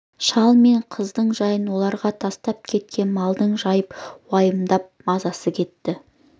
шал мен қыздың жайын оларға тастап кеткен малдың жайып уайымдап мазасы кетті